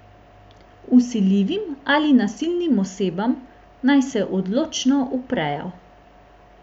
Vsiljivim ali nasilnim osebam naj se odločno uprejo.